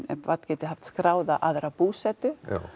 barn geti haft skráða aðra búsetu já